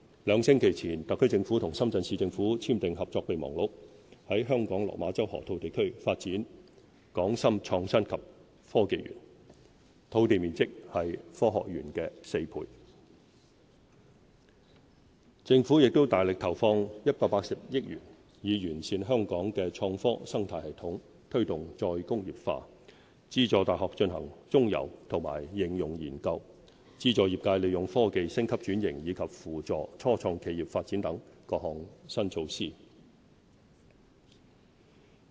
兩星期前，特區政府和深圳市政府簽訂合作備忘錄，在香港落馬洲河套地區發展"港深創新及科技園"，土地面積是科學園的4倍。地圖1政府亦大力投放180億元，以完善香港的創科生態系統，推動"再工業化"、資助大學進行中游及應用研究、資助業界利用科技升級轉型，以及扶助初創企業發展等各種新措施。